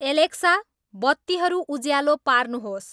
Alexa बत्तीहरू उज्यालो पार्नुहोस्